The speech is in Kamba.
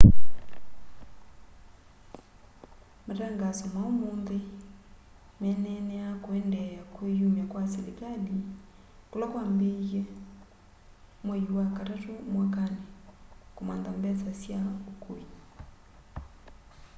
matangaso ma ũmũnthĩ meneneaa kũendeea kwĩyũmya kwa sĩlĩkalĩ kũla kwambĩĩwe mwaĩ wa katatũ mwakanĩ kũmantha mbesa sya ũkũĩ